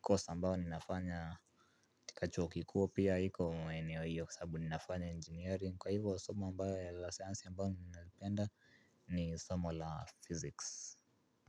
course ambayo ni nafanya. Tika chuo kikuu pia iko maeneo hiyo kwa sababu ni nafanya engineering. Kwa hivyo somo ambayo la sayansi ambayo ninapenda ni somo la physics.